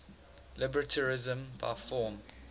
libertarianism by form